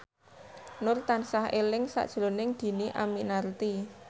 Nur tansah eling sakjroning Dhini Aminarti